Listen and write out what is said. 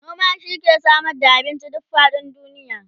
noma shi ke Samar da abinci duk faɗin duniya